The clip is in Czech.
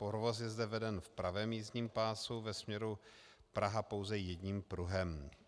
Provoz je zde veden v pravém jízdním pásu ve směru Praha pouze jedním pruhem.